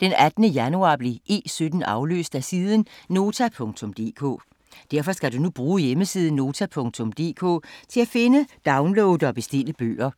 Den 18. januar blev E17 afløst af siden Nota.dk. Derfor skal du nu bruge hjemmesiden Nota.dk til at finde, downloade og bestille bøger.